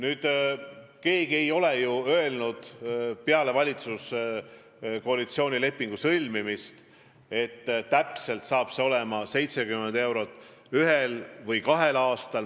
Aga keegi ei ole ju peale valitsuskoalitsiooni lepingu sõlmimist öelnud, et tõus saab olema 70 eurot ühel või kahel aastal.